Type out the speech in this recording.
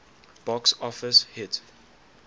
box office hit